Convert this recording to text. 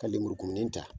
Ka lemurukumuni ta